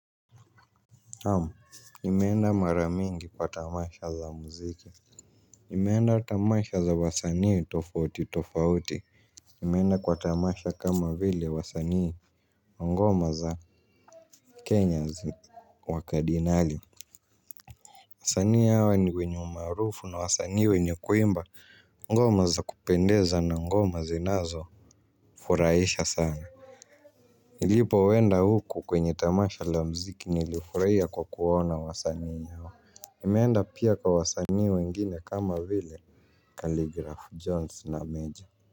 Naam, nimeenda mara mingi kwa tamasha za mziki. Nimeenda tamasha za wasanii tofauti tofauti. Nimeenda kwa tamasha kama vile wasanii wa ngoma za Kenya zi wakadinali wasanii hawa ni wenye umaarufu na wasanii wenye kuimba ngoma za kupendeza na ngoma zinazofurahisha sana. Nilipo enda huku kwenye tamasha la muziki nilifurahia kwa kuona wasanii hawa nimeenda pia kwa wasanii wengine kama vile kalgraph Jones na Mejja.